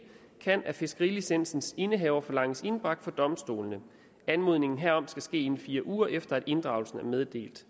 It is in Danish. kan af fiskerilicensens indehaver forlanges indbragt for domstolene anmodning herom skal ministeren inden fire uger efter at inddragelsen er meddelt